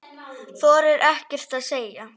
Þorir ekkert að segja.